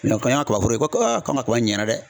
Mɛ ko y'a kaba foro ye ko k'an ka kaba in ɲɛna dɛ